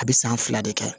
A bɛ san fila de kɛ